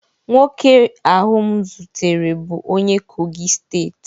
Nwoke ahụ m zutere bụ onye kogi steeti